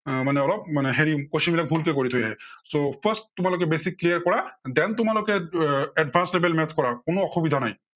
আহ মানে অলপ মানে হেৰি question বিলাক ভুল কে কৰি থৈ আহে। so first তোমালোকে basic clear কৰা than তোমালোকে এৰ advanced level maths কৰা কোনো অসুবিধা নাই।